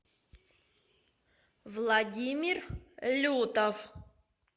владимир лютов